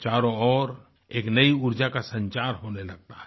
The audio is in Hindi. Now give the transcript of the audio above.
चारों ओर एक नई ऊर्जा का संचार होने लगता है